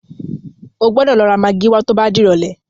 O gbọ́dọ̀ lọ ra magí wá tó bá dìrọ̀lẹ́.